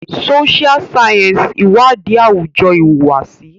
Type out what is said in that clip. Social Sciences iwadi awujo ihuwasi.